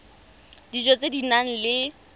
dijo tse di nang le